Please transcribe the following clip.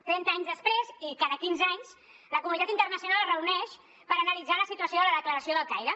trenta anys després i cada quinze anys la comunitat internacional es reuneix per analitzar la situació de la declaració del caire